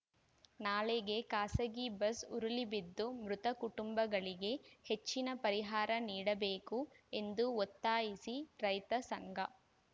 ನಾಲೆಗೆ ಖಾಸಗಿ ಬಸ್‌ ಉರುಳಿ ಬಿದ್ದು ಮೃತ ಕುಟುಂಬಗಳಿಗೆ ಹೆಚ್ಚಿನ ಪರಿಹಾರ ನೀಡಬೇಕು ಎಂದು ಒತ್ತಾಯಿಸಿ ರೈತ ಸಂಘ